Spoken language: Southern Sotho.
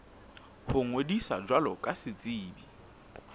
ho ngodisa jwalo ka setsebi